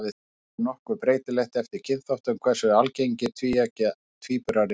Loks er nokkuð breytilegt eftir kynþáttum hversu algengir tvíeggja tvíburar eru.